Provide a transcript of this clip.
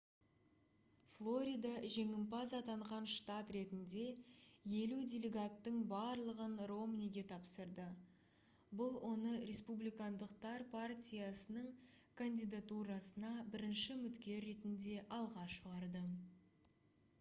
флорида жеңімпаз атанған штат ретінде елу делегаттың барлығын ромниге тапсырды бұл оны республикандықтар партиясының кандидатурасына бірінші үміткер ретінде алға шығарды